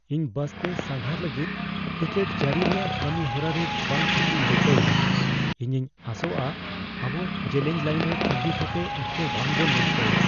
ᱤᱧ ᱵᱟᱥᱛᱮ ᱥᱟᱸᱜᱷᱟᱨ ᱞᱟᱹᱜᱤᱫ ᱴᱤᱠᱤᱴ ᱡᱟᱹᱨᱤ ᱨᱮᱭᱟᱜ ᱠᱟᱹᱢᱤᱦᱚᱨᱟ ᱨᱮ ᱵᱟᱝ ᱴᱷᱤᱠ ᱤᱧ ᱟᱹᱭᱠᱟᱹᱣ ᱮᱫᱟ; ᱤᱧᱤᱧ ᱟᱥᱚᱜᱼᱟ ᱟᱵᱚ ᱡᱮᱞᱮᱧ ᱞᱟᱹᱭᱤᱱ ᱨᱮ ᱛᱟᱸᱜᱤ ᱠᱟᱛᱮ ᱚᱠᱛᱚ ᱵᱟᱝ ᱵᱚᱱ ᱱᱚᱥᱴᱚᱭᱟ ᱾